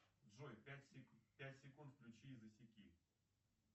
джой пять секунд включи и засеки